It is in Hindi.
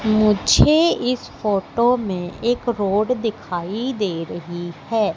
मुझे इस फोटो में एक रोड दिखाई दे रही है।